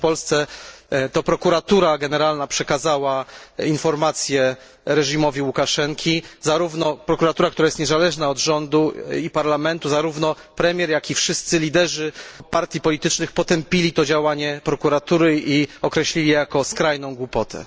Otóż w Polsce to Prokuratura Generalna przekazała informacje reżimowi Łukaszenki, zarówno prokuratura, która jest niezależna od rządu i parlamentu, zarówno premier, jak i wszyscy liderzy partii politycznych potępili to działanie prokuratury i określili je jako skrajną głupotę.